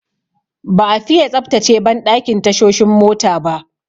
Ba'a fiye tsaftace banɗakin tashoshin mota ba.